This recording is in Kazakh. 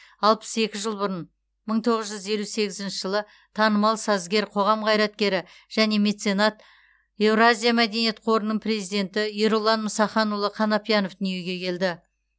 алпыс екі жыл бұрын мың тоғыз жүз елу сегізінші жылы танымал сазгер қоғам қайраткері және меценат еуразия мәдениет қорының президенті ерұлан мұсаханұлы қанапиянов дүниге келді